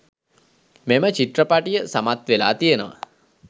මෙම චිත්‍රපටිය සමත් වෙලා තියෙනවා.